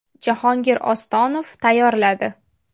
Jahongir Ostonov tayyorladi .